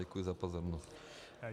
Děkuji za pozornost.